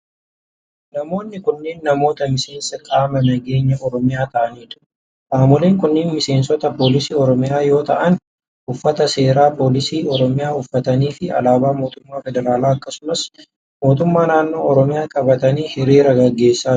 Namoonni kunneen namoota miseensa qaama nageenyaa Oromiyaa ta'anii dha. Qaamoleen kunneen miseensota poolisii Oromiyaa yoo ta'an, uffata seeraa poolisii uffatanii fi alaabaa mootummaa federaalaa akkasumas mootummaa naannoo Oromiyaa qabatanii hiriira gaggeessaa jiru.